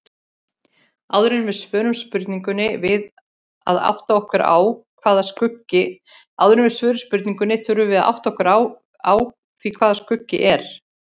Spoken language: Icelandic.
Áður en við svörum spurningunni þurfum við að átta okkur á því hvað skuggi er.